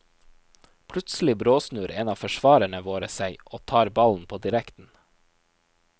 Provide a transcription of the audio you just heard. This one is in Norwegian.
Plutselig bråsnur en av forsvarerne våre seg og tar ballen på direkten.